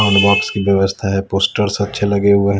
Soundbox की व्यवस्था है पोस्टर अच्छे लगे हुए हैं।